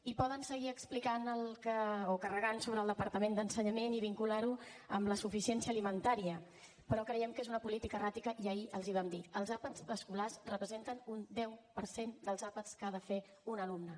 i poden seguir carregant sobre el departament d’ensenyament i vincular ho a la suficiència alimentària però creiem que és una política erràtica i ahir els hi vam dir els àpats escolars representen un deu per cent dels àpats que ha de fer un alumne